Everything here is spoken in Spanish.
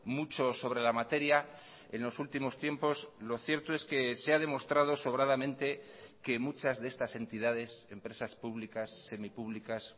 mucho sobre la materia en los últimos tiempos lo cierto es que se ha demostrado sobradamente que muchas de estas entidades empresas públicas semipúblicas